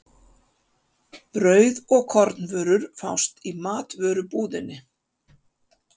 Brauð og kornvörur fást í matvörubúðinni.